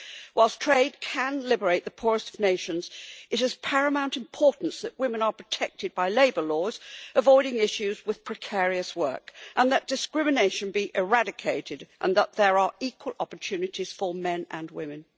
Whilst trade can liberate the poorest of nations, it is of paramount importance that women are protected by labour laws avoiding issues with precarious work, and that discrimination be eradicated, and that there are equal opportunities for men and women.